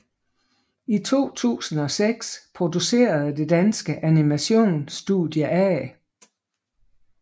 I 2006 producerede det danske animation studie A